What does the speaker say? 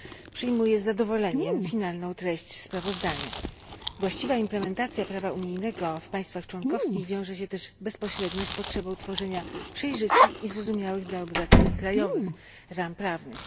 przyjmuję z zadowoleniem ostateczną treść sprawozdania. Właściwa implementacja prawa unijnego w państwach członkowskich wiąże się też bezpośrednio z potrzebą tworzenia przejrzystych i zrozumiałych dla obywateli krajowych ram prawnych.